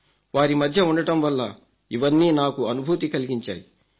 వారి మధ్య ఉండటం వల్ల ఇవన్నీ నాకు అనుభూతి కలిగించాయి